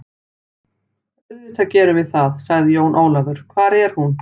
Auðvitað gerum við það, sagði Jón Ólafur, hvar er hún?